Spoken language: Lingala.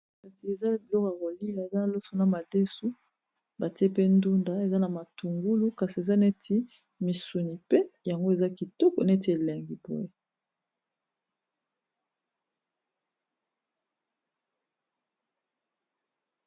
Kasi eza biloko ya kolia eza loso na madesu batie pe ndunda eza na matungulu kasi eza neti misuni pe yango eza kitoko neti elengi boye